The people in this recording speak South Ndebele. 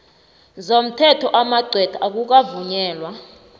zomthetho amagcwetha akukavunyelwa